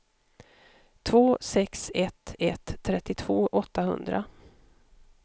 två sex ett ett trettiotvå åttahundra